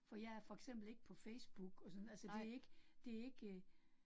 For jeg er for eksempel ikke på Facebook, og sådan altså det ikke det ikke